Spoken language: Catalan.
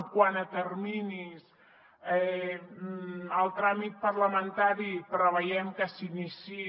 quant a terminis el tràmit parlamentari preveiem que s’iniciï